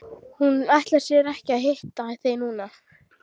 Hún ætlar sér ekki að hitta þig núna.